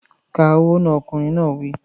Ka owó náà! Ọkùnrin náà wí.